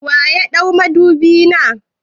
Wa ya ɗau madubi na?